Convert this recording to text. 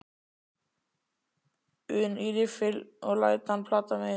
un í riffil og læt hann plata mig inn.